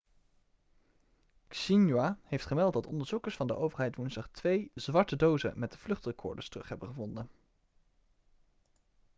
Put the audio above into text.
xinhua heeft gemeld dat onderzoekers van de overheid woensdag twee zwarte dozen' met vluchtrecorders terug hebben gevonden